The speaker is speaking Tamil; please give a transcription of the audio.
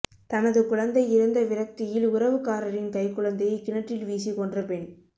தனது குழந்தை இறந்த விரக்தியில் உறவுக்காரரின் கைக்குழந்தையை கிணற்றில் வீசி கொன்ற பெண்